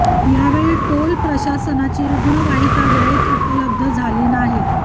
यावेळी टोल प्रशासनाची रुग्ण वाहिका वेळेत उपलब्ध झाली नाही